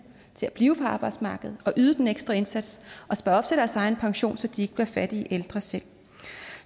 til at blive på arbejdsmarkedet og yde den ekstra indsats og spare op til deres egen pension så de ikke selv bliver fattige ældre så